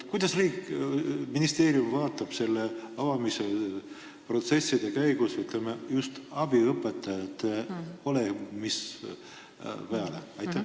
Kuidas riik, ministeerium, vaatab nende avamisprotsesside käigus just abiõpetajate olemasolu peale?